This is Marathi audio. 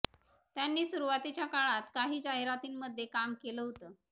त्यांनी सुरुवातीच्या काळात काही जाहिरातींमध्ये काम केलं होतं